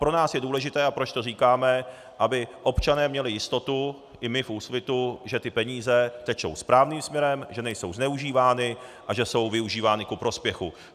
Pro nás je důležité, a proč to říkáme, aby občané měli jistotu, i my v Úsvitu, že ty peníze tečou správným směrem, že nejsou zneužívány a že jsou využívány ku prospěchu.